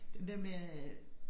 Den der med at